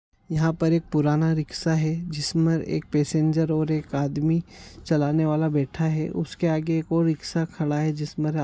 यहाँ पर एक पुराना रिक्शा है जिसमें एक पैसेंजर और एक आदमी चलाने वाला बैठा है उसके आगे एक और रिक्शा खड़ा है जिस पर --